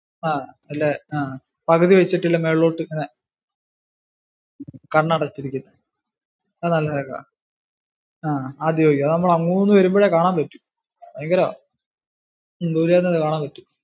ആഹ് ഇല്ലേ ആഹ് പകുതി വെച്ചിട്ടു ഇല്ലെ മേലോട്ട് ഇങ്ങനെ കണ്ണടച്ചിരിക്കുന്നെ അത് നല്ല രസമാ അഹ് ആദിയോഗി ആഹ് അത് നമ്മൾ അങ്ങുന്ന് വരുമ്പോഴേ കാണാം പറ്റും ഭയങ്കരവാ, ദുരെന്നെ കാണാൻ പറ്റും.